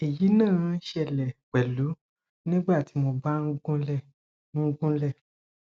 èyí náà ṣẹlẹ pẹlú nígbà tí mo bá ń gunlé ń gunlé